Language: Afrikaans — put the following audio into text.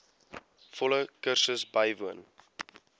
volle kursus bywoon